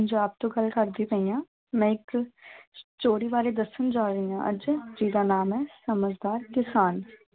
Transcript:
ਪੰਜਾਬ ਤੋਂ ਗੱਲ ਕਰਦੀ ਪਈ ਹਾਂ ਮੈਂ ਇੱਕ story ਬਾਰੇ ਦੱਸਣ ਜਾ ਰਹੀ ਹਾਂ ਅੱਜ, ਜਿਹਦਾ ਨਾਮ ਹੈ ਸਮਝਦਾਰ ਕਿਸਾਨ।